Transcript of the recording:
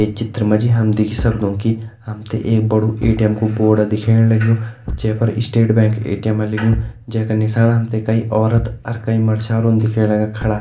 ये चित्र माजी हम देख ही सक्दो कि हमते एक बडु ए.टी.एम को बोर्ड दिख्येण लगयूं जेपर स्टेट बैंक ए.टी.एम लिख्यूं जेका निसाण हमते कई औरत और कई मर्छारू दिख्येण लाग्यां खड़ा।